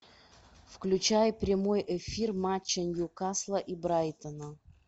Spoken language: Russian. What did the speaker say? включай прямой эфир матча ньюкасла и брайтона